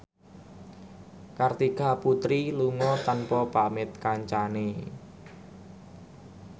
Kartika Putri lunga tanpa pamit kancane